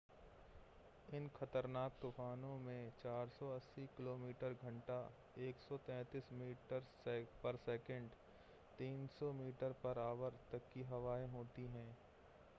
इन ख़तरनाक तूफ़ानों में 480 किमी/घंटा 133मी/सेकंड; 300mph तक की हवाएँ होती हैं